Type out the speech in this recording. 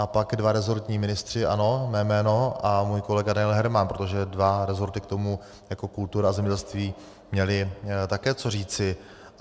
A pak dva rezortní ministři - ano, mé jméno a můj kolega Daniel Herman, protože dva rezorty k tomu jako kultura a zemědělství měly také co říci.